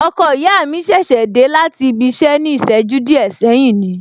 Ọkọ ìyá mi ṣẹ̀ṣẹ̀ dé láti ibi iṣẹ ní ìṣẹ́jú díẹ̀ sẹ́yìn ni